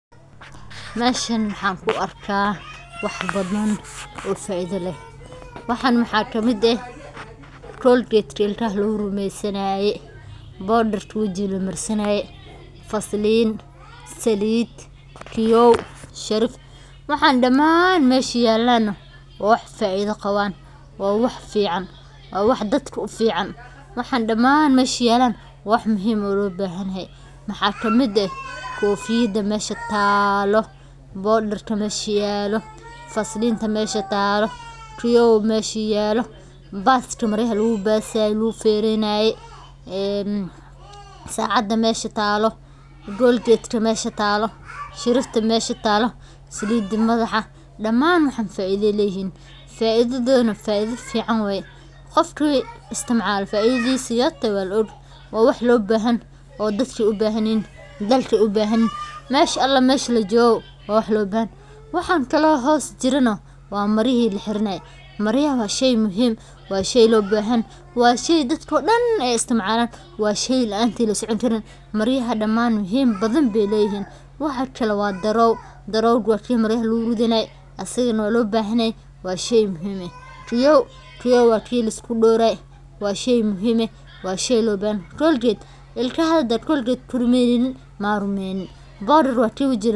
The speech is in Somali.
Meshan maxan ku arkaa wax badan oo faido leh, waxan maxaa ka mid eh colgate ilkaha lagu rumeysanaye bodarka wajiga lamar sanaye , waxay door weyn ka ciyaartaa daryeelka maqaarka iyo nadaafadda shaqsiga. Waxaa ka mid ah saabuunta, kareemada, saliidaha, cadaradka, iyo sunsaanada loo isticmaalo in jirka laga nadiifiyo, loo carfiyo, ama loo ilaaliyo caafimaadkiisa. Kareemada maqaarka ayaa ka hortaga qallaylka iyo gubashada qoraxda, halka saliidaha sida kuwa qudaarta laga sameeyo ay jilciso oo ay nafaqo siiyaan maqaarka. Cadaradka iyo deodorant-ka waxaa loo adeegsadaa in jirku u carfayo oo lagu yareeyo dhididka. Isticmaalka alaabtan si joogto ah waxay kor u qaadaa kalsoonida qofka iyo nadaafadda guud ilkaha hadad colgate ku rumeynin maa rumenin.